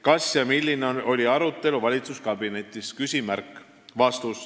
Kas ja milline oli arutelu valitsuskabinetis?